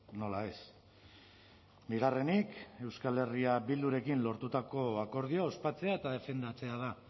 nola ez bigarrenik euskal herria bildurekin lortutako akordioa ospatzea eta defendatzea da